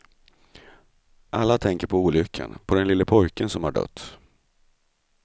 Alla tänker på olyckan, på den lille pojken som har dött.